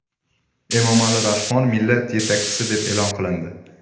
Emomali Rahmon Millat yetakchisi deb e’lon qilindi.